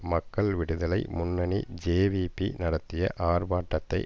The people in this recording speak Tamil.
மக்கள் விடுதலை முன்னணி ஜேவிபி நடத்திய ஆர்ப்பாட்டத்தை